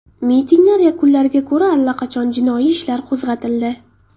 Mitinglar yakunlariga ko‘ra allaqachon jinoiy ishlar qo‘zg‘atildi.